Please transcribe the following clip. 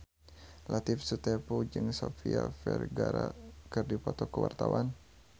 Latief Sitepu jeung Sofia Vergara keur dipoto ku wartawan